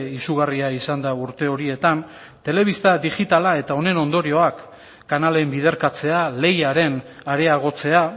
izugarria izan da urte horietan telebista digitala eta honen ondorioak kanalen biderkatzea lehiaren areagotzea